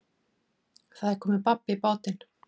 Það er komið babb í bátinn